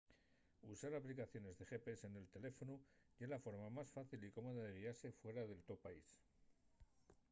usar aplicaciones de gps nel teléfonu ye la forma más fácil y cómoda de guiase fuera del to país